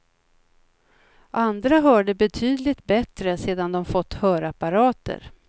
Andra hörde betydligt bättre sedan de fått hörapparater.